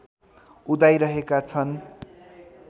उदाइरहेका छन्